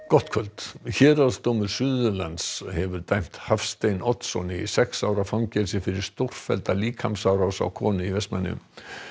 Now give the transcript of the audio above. gott kvöld héraðsdómur Suðurlands hefur dæmt Hafstein Oddsson í sex ára fangelsi fyrir stórfellda líkamsárás á konu í Vestmannaeyjum